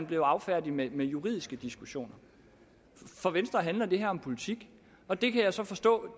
blevet affærdiget med juridiske diskussioner for venstre handler det her om politik og det kan jeg så forstå